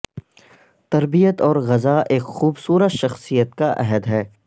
تربیت اور غذا ایک خوبصورت شخصیت کا عہد ہے